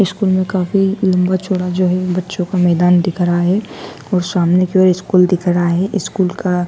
school में काफी लंबा चौड़ा जो है बच्चों का मैदान दिख रहा है और सामने की ओर स्कूल दिख रहा है स्कूल का --